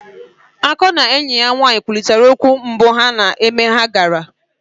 Akannœ na enyi ya nwaanyị kwurịtara okwu mbụ ha na mmemme ha gara.